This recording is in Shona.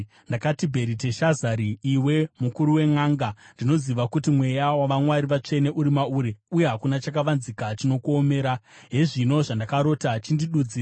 Ndakati, “Bheriteshazari, iwe mukuru wenʼanga, ndinoziva kuti mweya wavamwari vatsvene uri mauri, uye hakuna chakavanzika chinokuomera. Hezvino zvandakarota; chindidudzira.